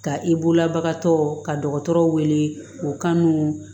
Ka i bolola bagan dɔgɔtɔrɔ ka dɔgɔtɔrɔw wele o kan n'u